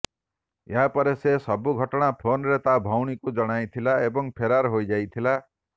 ଏହିପରେ ସେ ସବୁ ଘଟଣା ଫୋନରେ ତାର ଭଉଣୀକୁ ଜଣାଇଥିଲା ଏବଂ ଫେରାର ହୋଇଯାଇଥିଲା